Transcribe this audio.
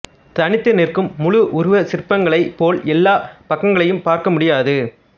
தனித்து நிற்கும் முழு உருவச் சிற்பங்களைப் போல் எல்லாப் பக்கங்களையும் பார்க்க முடியாது